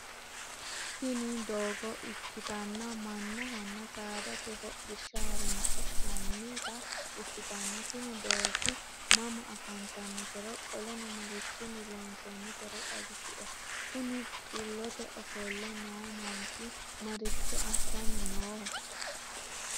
Tini doogo ikkitanna mannahonna saadate hodhishshaho horonsi'nannita ikkitanna tini doogi mama afanttanotero qoleno marchchinni loonsoinnitero xawisie? Kuni xullote ofolle noo manchchi marchcho assanni nooho?